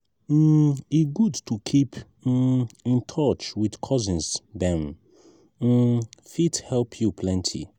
um e good to keep um in touch with cousins; dem um fit help you plenty.